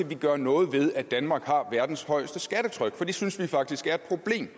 vi gøre noget ved at danmark har verdens højeste skattetryk for det synes vi faktisk er et problem